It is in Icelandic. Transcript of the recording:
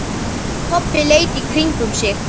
Kobbi leit í kringum sig.